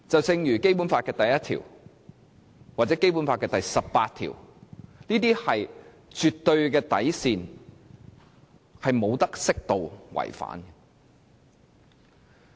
正如《基本法》第一條或第十八條，是絕對的底線，是不可以適度違反的。